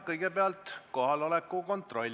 Kõigepealt kohaloleku kontroll.